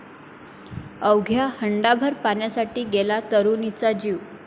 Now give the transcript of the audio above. अवघ्या हंडाभर पाण्यासाठी गेला तरुणीचा जीव